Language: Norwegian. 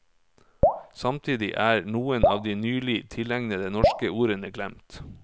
Samtidig er noen av de nylig tilegnede norske ordene glemt.